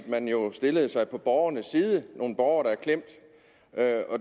man jo stillede sig på borgernes side nogle borgere der er klemt